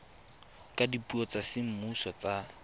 ka dipuo tsa semmuso tsa